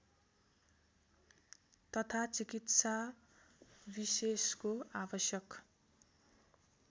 तथा चिकित्साविशेषको आवश्यक